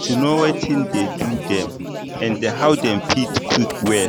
to know watin dey do dem and how dem fit quick well